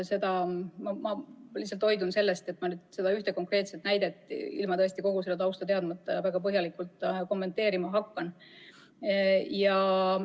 Ma hoidun sellest, et seda ühte konkreetset näidet ilma kogu tausta teadmata väga põhjalikult kommenteerima hakkaksin.